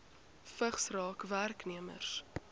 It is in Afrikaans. vigs raak werknemers